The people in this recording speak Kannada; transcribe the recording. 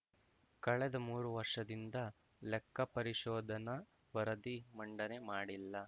ಕಳೆದ ಮೂರು ವರ್ಷದಿಂದ ಲೆಕ್ಕಪರಿಶೋಧನಾ ವರದಿ ಮಂಡನೆ ಮಾಡಿಲ್ಲ